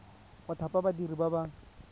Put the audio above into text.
go thapa badiri ba ba